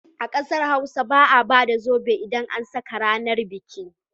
A ƙasar Hausa ba a ba da zobe idan an saka ranar biki.